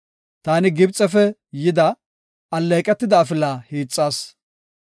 Taani Gibxefe yida, alleeqetida afila hiixas.